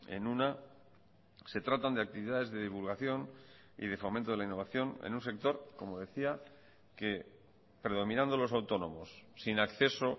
en una se tratan de actividades de divulgación y de fomento de la innovación en un sector como decía que predominando los autónomos sin acceso